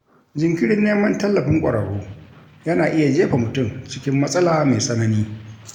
Jinkirin neman tallafin ƙwararru yana iya jefa mutum cikin matsala mai tsanani.